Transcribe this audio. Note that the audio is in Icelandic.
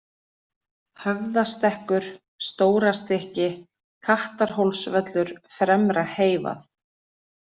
Höfðastekkur, Stórastykki, Kattarhólsvöllur, Fremra-Heyvað